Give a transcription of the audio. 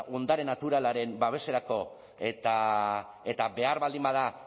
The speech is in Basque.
ondare naturalaren babeserako eta behar baldin bada